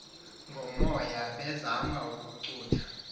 ngomoya bezama ukucutha